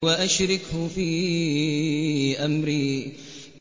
وَأَشْرِكْهُ فِي أَمْرِي